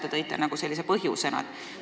Te tõite seda nagu põhjusena välja.